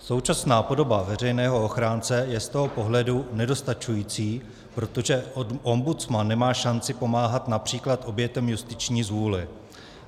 Současná podoba veřejného ochránce je z toho pohledu nedostačující, protože ombudsman nemá šanci pomáhat například obětem justiční zvůle.